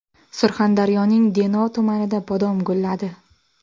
Surxondaryoning Denov tumanida bodom gulladi.